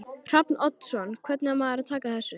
Hrafn Oddsson Hvernig á maður að taka þessu?